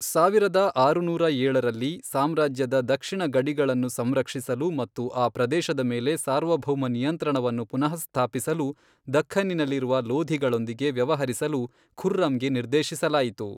ಸಾವಿರದ ಆರುನೂರ ಏಳರಲ್ಲಿ, ಸಾಮ್ರಾಜ್ಯದ ದಕ್ಷಿಣ ಗಡಿಗಳನ್ನು ಸಂರಕ್ಷಿಸಲು ಮತ್ತು ಆ ಪ್ರದೇಶದ ಮೇಲೆ ಸಾರ್ವಭೌಮ ನಿಯಂತ್ರಣವನ್ನು ಪುನಃಸ್ಥಾಪಿಸಲು ದಖ್ಖನ್ನಿನಲ್ಲಿರುವ ಲೋಧಿಗಳೊಂದಿಗೆ ವ್ಯವಹರಿಸಲು ಖುರ್ರಂ ಗೆ ನಿರ್ದೇಶಿಸಲಾಯಿತು.